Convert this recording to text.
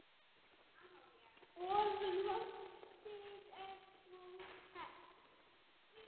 Og loftið er svo ferskt.